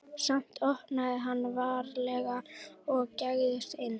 Samt opnaði hann varlega og gægðist inn.